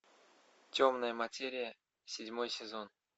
темная материя седьмой сезон